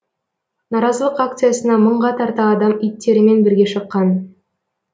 наразылық акциясына мыңға тарта адам иттерімен бірге шыққан